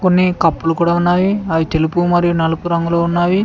అన్ని కప్పులు కూడా ఉన్నాయి అవి తెలుపు మరి నలుపు రంగులో ఉన్నవి.